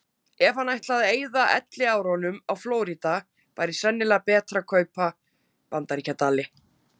Ef hann ætlaði að eyða elliárunum á Flórída væri sennilega betra að kaupa Bandaríkjadali.